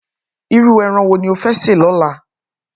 Irú èràn wó ló fè sé lòlá?